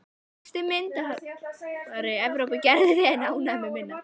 Besti myndhöggvari Evrópu, gerðu þig ekki ánægða með minna.